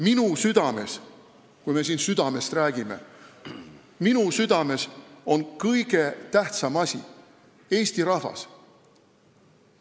Minu südames – kui me siin südamest räägime – on kõige tähtsam asi eesti rahvas.